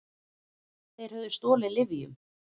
Þeir höfðu stolið lyfjum.